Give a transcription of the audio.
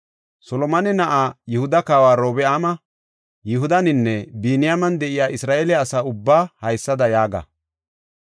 “Solomone na7aa, Yihuda Kawa Orobi7aama, Yihudaninne Biniyaamen de7iya Isra7eele asa ubbaa haysada yaaga;